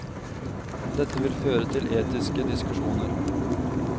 Dette vil føre til etiske diskusjoner.